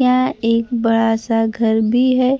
यहां एक बड़ा सा घर भी है